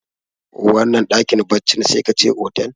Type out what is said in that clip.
wannan dakin baccin sai ka ce otal